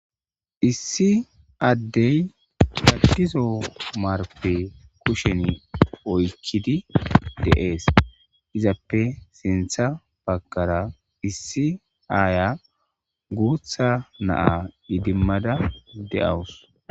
Issi Adey Cadizo marpe kushen oykid de'es, izappe sintha bagara issi aaya guutha na idimada de'awusi.